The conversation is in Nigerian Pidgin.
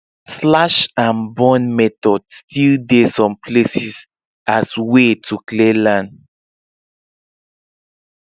slash and burn method still dey some places as way to clear land